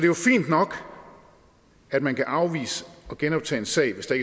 jo fint nok at man kan afvise at genoptage en sag hvis der